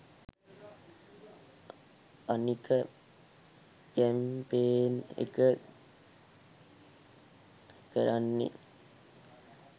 අනික කැම්පේන් එක කරන්නේ